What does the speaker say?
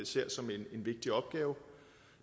ser som en vigtig opgave